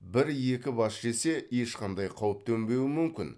бір екі бас жесе ешқандай қауіп төнбеуі мүмкін